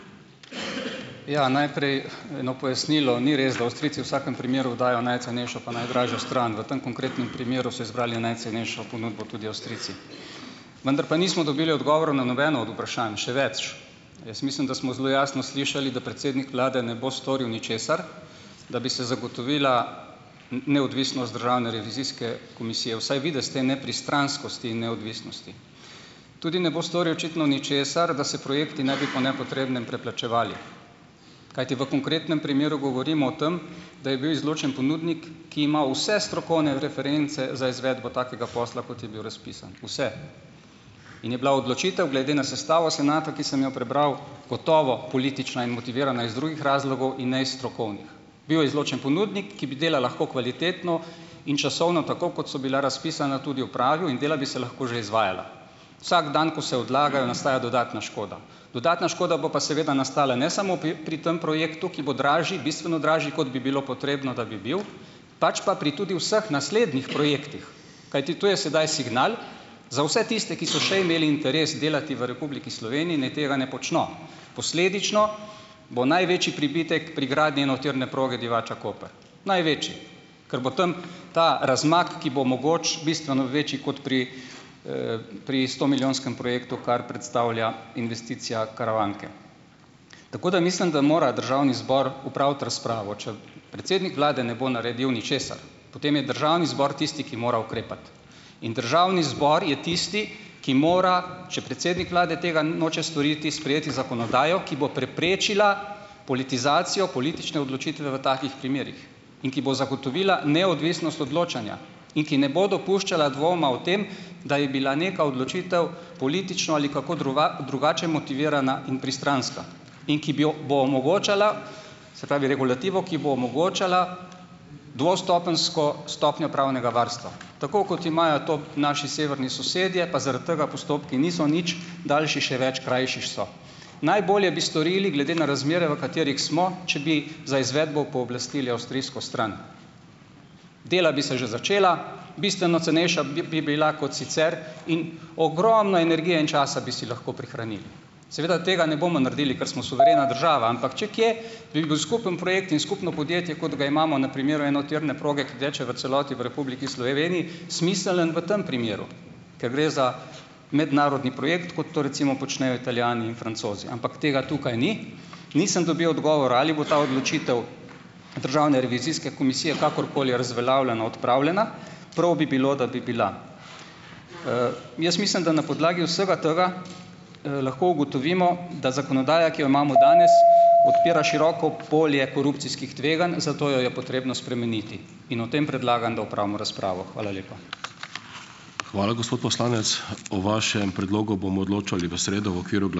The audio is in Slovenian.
Ja, naprej eno pojasnilo. Ni res, da Avstrijci v vsakem primeru dajo najcenejšo pa najdražjo stran, v tem konkretnem primeru so izbrali najcenejšo ponudbo tudi Avstrijci. Vendar pa nismo dobili odgovorov na nobeno od vprašanj, še več, jaz mislim, da smo zelo jasno slišali, da predsednik vlade ne bo storil ničesar, da bi se zagotovila neodvisnost Državne revizijske komisije - vsaj videz te nepristranskosti in neodvisnosti. Tudi ne bo storil očitno ničesar, da se projekti ne bi po nepotrebnem preplačevali, kajti v konkretnem primeru govorimo o tem, da je bil izločen ponudnik, ki ima vse strokovne reference za izvedbo takega posla, kot je bil razpisan, vse, in je bila odločitev glede na sestavo senata, ki sem jo prebral, gotovo politična in motivirana iz drugih razlogov in ne iz strokovnih. Bil je izločen ponudnik, ki bi dela lahko kvalitetno in časovno, tako kot so bila razpisana, tudi opravil in dela bi se lahko že izvajala. Vsak dan, ko se odlagajo, nastaja dodatna škoda. Dodatna škoda bo pa seveda nastala ne samo pri tem projektu, ki bo dražji, bistveno dražji kot bi bilo potrebno, da bi bil, pač pa pri tudi vseh naslednjih projektih, kajti to je sedaj signal za vse tiste, ki so še imeli interes delati v Republiki Sloveniji, naj tega ne počno. Posledično bo največji pribitek pri gradnji enotirne proge Divača-Koper, največji, ker bo tam ta razmak, ki bo mogoče bistveno večji kot pri, pri stomilijonskem projektu, kar predstavlja investicija Karavanke. Tako da mislim, da mora državni zbor opraviti razpravo. Če predsednik vlade ne bo naredil ničesar, potem je državni zbor tisti, ki mora ukrepati, in državni zbor je tisti, ki mora, če predsednik vlade tega noče storiti, sprejeti zakonodajo, ki bo preprečila politizacijo politične odločitve v takih primerih in ki bo zagotovila neodvisnost odločanja in ki ne bo dopuščala dvoma o tem, da je bila neka odločitev politično ali kako druga drugače motivirana in pristranska, in ki bi jo bo omogočala, se pravi regulativo, ki bo omogočala dvostopenjsko stopnjo pravnega varstva. Tako kot imajo to naši severni sosedje, pa zaradi tega postopki niso nič daljši, še več, krajši so. Najbolje bi storili, glede na razmere, v katerih smo, če bi za izvedbo pooblastili avstrijsko stran. Dela bi se že začela, bistveno cenejša bi bi bila kot sicer in ogromno energije in časa bi si lahko prihranili. Seveda tega ne bomo nar dili, ker smo suverena država, ampak če kje, bi bil skupen projekt in skupno podjetje, kot ga imamo na primeru enotirne proge, ki teče v celoti v Republiki Sloveniji smiseln v tem primeru, ker gre za mednarodni projekt, kot to recimo počnejo Italijani in Francozi, ampak tega tukaj ni. Nisem dobil odgovora, ali bo ta odločitev Državne revizijske komisije kakorkoli razveljavljena, odpravljena, prav bi bilo, da bi bila. Jaz mislim, da na podlagi vsega tega, lahko ugotovimo, da zakonodaja, ki jo imamo danes, odpira široko polje korupcijskih tveganj, zato jo je potrebno spremeniti, in o tem predlagam, da opravimo razpravo. Hvala lepa.